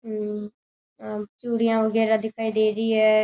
चूड़ियां वगैरा दिखाई दे रही है।